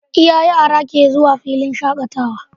Iya yara ke zuwa filin shakatawa